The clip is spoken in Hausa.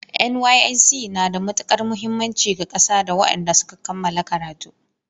NYSC na da matukar muhimmanci ga ƙasa da wadanda suka kammala karatu